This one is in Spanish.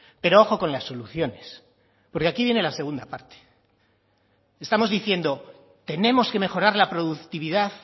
pero ojo con las soluciones porque aquí viene la segunda parte estamos diciendo tenemos que mejorar la productividad